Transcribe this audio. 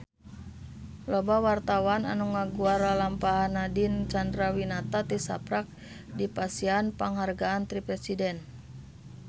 Loba wartawan anu ngaguar lalampahan Nadine Chandrawinata tisaprak dipasihan panghargaan ti Presiden